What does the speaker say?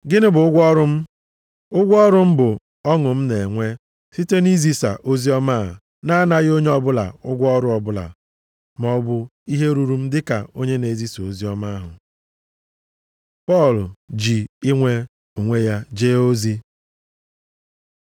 Gịnị bụ ụgwọ ọrụ m? Ụgwọ ọrụ m bụ ọṅụ m na-enwe site nʼizisa oziọma a, na-anaghị onye ọbụla ụgwọ ọrụ ọbụla, maọbụ ihe ruru m dịka onye na-ezisa oziọma ahụ. Pọl ji inwe onwe ya jee ozi